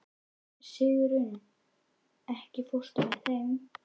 Sigurunn, ekki fórstu með þeim?